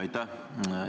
Aitäh!